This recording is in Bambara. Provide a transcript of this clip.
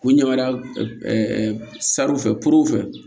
K'u ɲɛmada saro fɛ poro fɛ